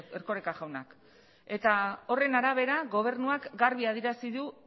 erkoreka jauna eta horren arabera gobernuak garbi adierazi du